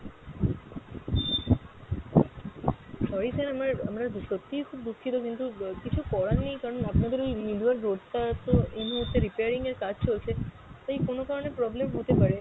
sorry sir, আমার আমরা সত্যিই খুব দুঃখিত কিন্তু আহ কিছু করার নেই কারণ আপনাদের ওই লিলুয়া road টা তো এই মুহূর্তে repairing এর কাজ চলছে, তাই কোনো কারণে problem হতে পারে,